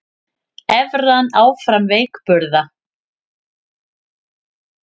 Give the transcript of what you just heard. Evran áfram veikburða